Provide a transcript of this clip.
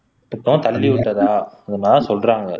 தள்ளி விட்டதா அந்த மாதிரி தான் சொல்றாங்க